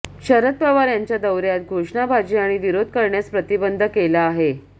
शरद पवार यांच्या दौऱ्यात घोषणाबाजी आणि विरोध करण्यास प्रतिबंध केला आहे